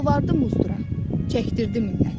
Yalvardı muzdura, çəkdirirdi minnətini.